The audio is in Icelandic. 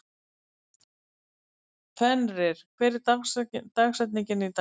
Fenrir, hver er dagsetningin í dag?